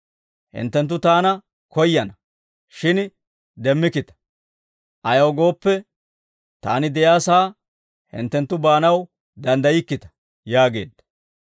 Hinttenttu taana koyyana; shin demmikkita; ayaw gooppe, taani de'iyaa sa'aa hinttenttu baanaw danddaykkita» yaageedda.